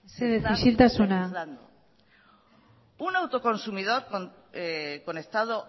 estamos legislando mesedez isiltasuna un autoconsumidor conectado